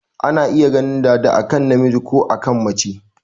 Ana iya ganin dada a kan namiji ko a kan mace.